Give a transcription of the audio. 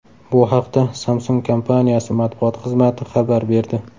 Bu haqda Samsung kompaniyasi matbuot xizmati xabar berdi.